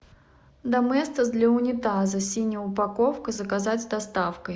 доместос для унитаза синяя упаковка заказать с доставкой